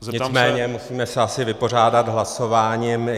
Nicméně musíme se asi vypořádat hlasováním.